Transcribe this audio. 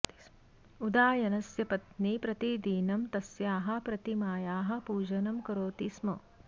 उदायनस्य पत्नी प्रतिदिनं तस्याः प्रतिमायाः पूजनं करोति स्म